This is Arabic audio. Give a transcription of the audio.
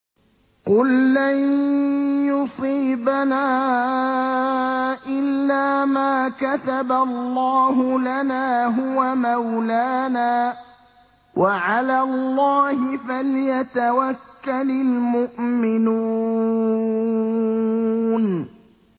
قُل لَّن يُصِيبَنَا إِلَّا مَا كَتَبَ اللَّهُ لَنَا هُوَ مَوْلَانَا ۚ وَعَلَى اللَّهِ فَلْيَتَوَكَّلِ الْمُؤْمِنُونَ